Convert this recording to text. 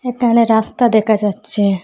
একানে রাস্তা দেখা যাচ্ছে।